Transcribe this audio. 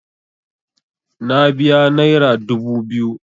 Na biya naira dubu biyu.